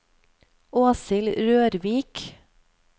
Åshild Rørvik